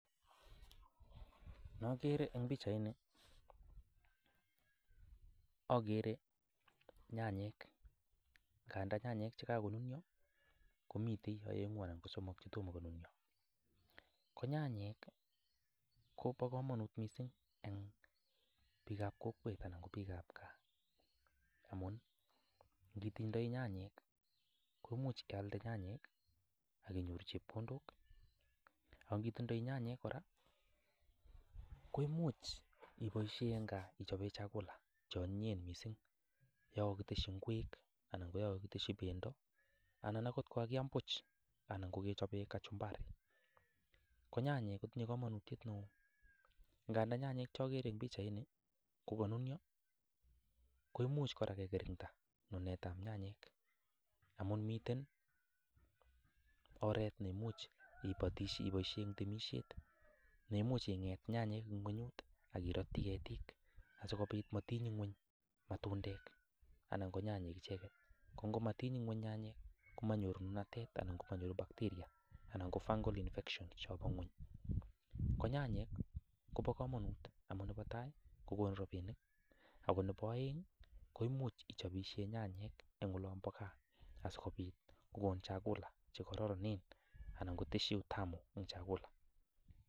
Nogeere eng pichaini, ageere nyanyek, nganda nyanyek chekakonuniyo komitei aengu anan ko somok chetomo konuniyo, ko nyanyek kobo kamanut mising eng biikab kokwet anan ko biikab gaa amun ngitindoi nyanyek komuch ialde nyanyek akinyoru chepkondok, ak kitindoi nyanyek kora, koimuch ipoishe eng gaa ichope chakula che anyinyen mising, yon kakiteshi ingwek anan yon kakiteshi pendo anan akot yon kakiaam puuch anan kakichope kachumbari ko nyanyek kotinye kamanutiet neo, ndaga nyanyek chogeere eng pichaini kokanuniyo koimuch kora kekirinda nunetab nyanyek amun miten oret neimuch ipoishe eng temisiet ne imuch inget nyanyek eng ingwonyut aki ratyi ketiik asikopit matiny ingwony matundek anan ko nyanyek icheket. Ko ngomatiny ingweny nyanyek komanyoru nunatet anan ko manyoru bacteria anan ko fungal infection chebo ingwony, ko nyanyek kobo kamanut amun nebo tai, kokonu rapinik ako nebo aeng ko imuch ichopishe nyanyek eng olombo gaa asikopit kokonu chakula che koraranen anan koteshi utamu eng chakula.